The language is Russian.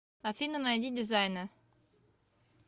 афина найди дизайнэ